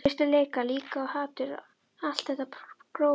Biturleika líka, og hatur, allt þetta grófa.